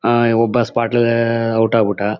ಒಬ್ಬ ಸ್ಪಾಟ್ ಅಲ್ಲೇ ಔಟ್ ಆಗ್ಬಿಟ್ಟ.